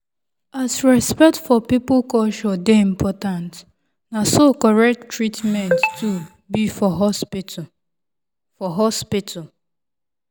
as respect for person culture dey important na so correct treatment too be for hospital. for hospital.